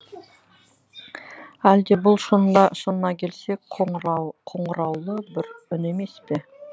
әлде бұл шынына келсек қоңыраулы бір үн емес пе